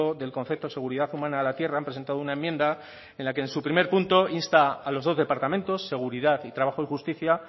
del concepto de seguridad humana a la tierra han presentado una enmienda en la que en su primer punto insta a los dos departamentos seguridad y trabajo y justicia